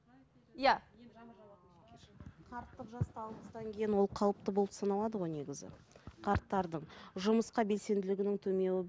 ол қалыпты болып саналады ғой негізі қарттардың жұмысқа белсенділігінің